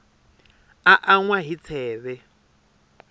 a an wa hi tsheve